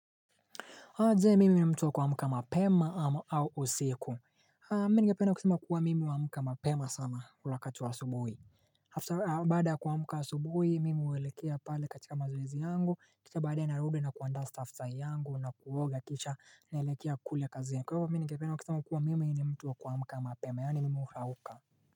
Ingawaje mimi ni mtu wa kuamka mapema ama au usiku Mimi nigependa kusema kuwa mimi huamka mapema sana ule wakati wa asubuhi After baada kuamka asubuhi mimi huelekea pale katika mazoezi yangu, kisha baadae narudi na kuandaa staftahi yangu na kuoga kisha naelekea kule kazi Kwahivyo mimi nigependa kusama kuwa mimi ni mtu wa kwamka mapema yaani mimi hurauka.